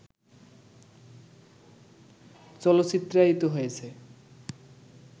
চলচ্চিত্রায়িত হয়েছে